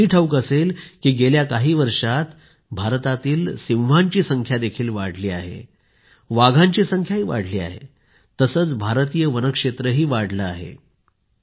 तुम्हाला हेही ठाऊक असेल की गेल्या काही वर्षांत भारतातील सिंहांची संख्या देखील वाढली आहे वाघांची संख्याही वाढली आहे तसेच भारतीय वनक्षेत्रही वाढले आहे